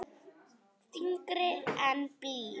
Þyngri en blý.